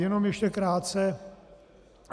Jenom ještě krátce.